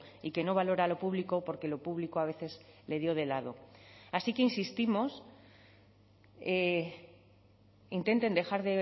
y que no valora lo público porque lo público a veces le dio de lado así que insistimos intenten dejar